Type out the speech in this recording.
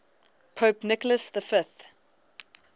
pope nicholas v